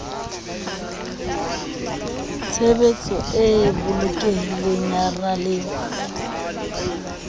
tshebetso e bolokehileng ya ralewa